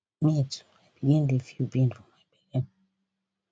me too i begin dey feel pain for my belly